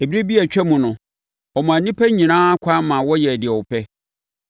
Ɛberɛ bi a atwa mu no, ɔmaa nnipa nyinaa kwan maa wɔyɛɛ deɛ wɔpɛ.